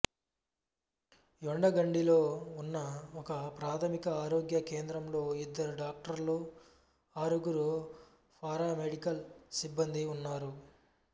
యెండగండిలో ఉన్న ఒకప్రాథమిక ఆరోగ్య కేంద్రంలో ఇద్దరు డాక్టర్లు ఆరుగురు పారామెడికల్ సిబ్బందీ ఉన్నారు